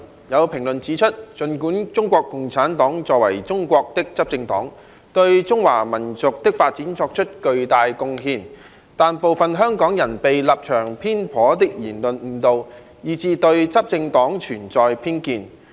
有評論指出，儘管中國共產黨作為中國的執政黨，對中華民族的發展作出了巨大貢獻，但部分香港人被立場偏頗的言論誤導，以致對執政黨存有偏見。